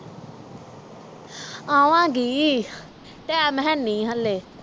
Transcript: ਆਵਾਂਗੀ ਟਾਈਮ ਹੈ ਨਹੀਂ ਹਾਲੇ